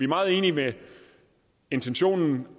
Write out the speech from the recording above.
meget enige i intentionen